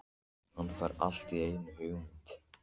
Hann fær allt í einu hugmynd.